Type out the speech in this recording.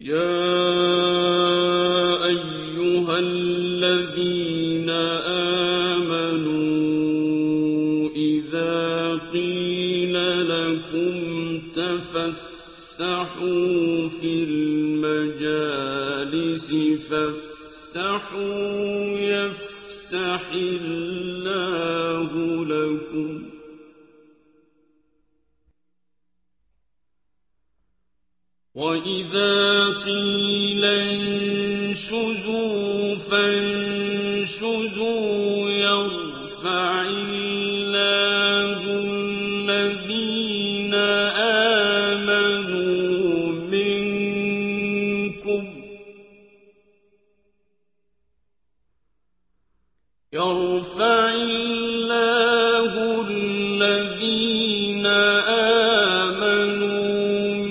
يَا أَيُّهَا الَّذِينَ آمَنُوا إِذَا قِيلَ لَكُمْ تَفَسَّحُوا فِي الْمَجَالِسِ فَافْسَحُوا يَفْسَحِ اللَّهُ لَكُمْ ۖ وَإِذَا قِيلَ انشُزُوا فَانشُزُوا يَرْفَعِ اللَّهُ الَّذِينَ آمَنُوا